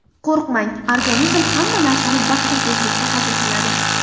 Qo‘rqmang: organizm hamma narsani bir xil tezlikda hazm qiladi.